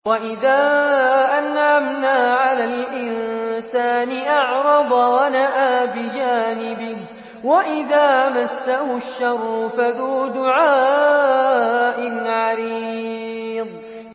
وَإِذَا أَنْعَمْنَا عَلَى الْإِنسَانِ أَعْرَضَ وَنَأَىٰ بِجَانِبِهِ وَإِذَا مَسَّهُ الشَّرُّ فَذُو دُعَاءٍ عَرِيضٍ